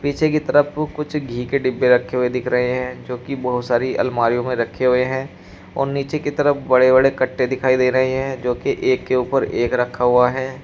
पीछे की तरफ कुछ घी के डिब्बे रखे हुए दिख रहे हैं जो की बहोत सारी अलमारियों में रखे हुए है और नीचे की तरफ बड़े बड़े कट्टे दिखाई दे रहे हैं जो की एक के ऊपर एक रखा हुआ है।